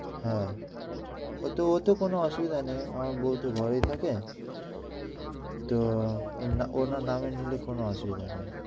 হ্যাঁ ওতে কোনো অসুবিধা নেই আমার বউ তো ঘরেই থাকে, ওনার নামে কোনো অসুবিধা নেই।